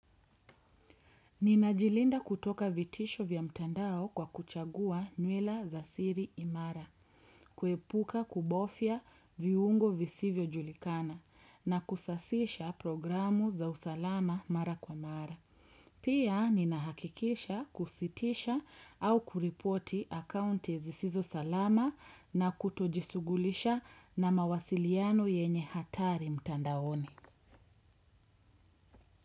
Ninajilinda kutoka vitisho vya mtandao kwa kuchagua nywila za siri imara, kuepuka kubofya viungo visivyojulikana na kusasisha programu za usalama mara kwa mara. Pia ninahakikisha kusitisha au kuripoti akaunti zisizo salama. Na kutojisughulisha na mawasiliano yenye hatari mtandaoni.